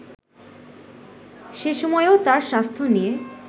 সে সময়ও তার স্বাস্থ্য নিয়ে